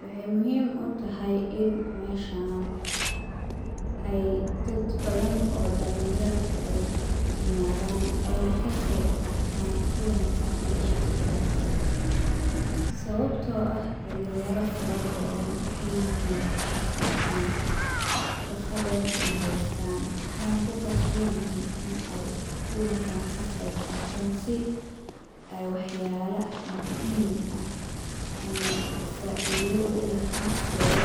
Waxaay muhiim utahay in meeshan aay dad badan oo dalin yar aay imaadan aayna ka qeyb qaatan kulanka meeshan ladacaayo, sababta oo ah dalin yaro fara badan waxaay yihiin shaqo laan, shaqa dan mahaystaan waxeeyna ku qasban yihiin in aay kulankan ka qeyb qaaatan si aay wax yaala muhiim ah ama faida uleh naftooda